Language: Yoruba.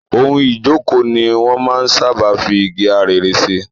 Ohun ìjókòó ni wọn máa ń sáábà fi igi arère ṣe.